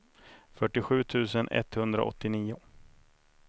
fyrtiosju tusen etthundraåttionio